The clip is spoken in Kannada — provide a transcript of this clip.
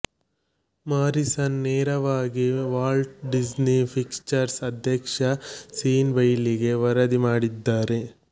ಮಾರಿಸನ್ ನೇರವಾಗಿ ವಾಲ್ಟ್ ಡಿಸ್ನಿ ಪಿಕ್ಚರ್ಸ್ ಅಧ್ಯಕ್ಷ ಸೀನ್ ಬೈಲಿಗೆ ವರದಿ ಮಾಡಿದ್ದಾರೆ